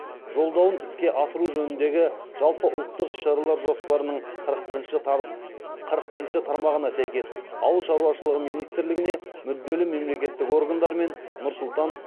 жолдауын іске асыру жөніндегі жалпыұлттық іс шаралар жоспарының қырық бірінші тармағына сәйкес ауыл шаруашылығы министрлігіне мүдделі мемлекеттік органдармен нұр сұлтан